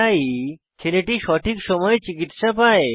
তাই ছেলেটি সঠিক সময়ে চিকিত্সা পায়